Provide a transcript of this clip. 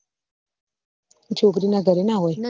છોકરી ના ઘર ના હોય ના